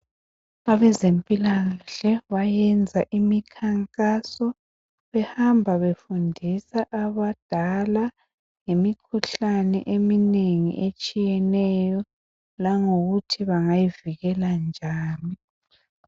Abezempilakahle bayenza imikhankaso behamba befundisa abadala ngemikhuhlane eminengi esthiyeneyo langokuthi bangayivikela njani.